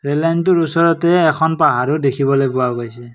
Rail লাইনটোৰ ওচৰতে এখন পাহাৰো দেখিবলৈ পোৱা গৈছে।